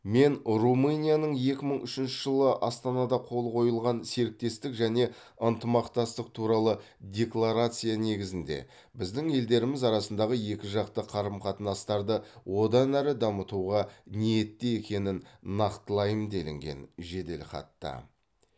мен румынияның екі мың үшінші жылы астанада қол қойылған серіктестік және ынтымақтастық туралы декларация негізінде біздің елдеріміз арасындағы екіжақты қарым қатынастарды одан әрі дамытуға ниетті екенін нақтылаймын делінген жеделхатта